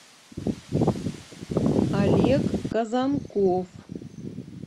олег казанков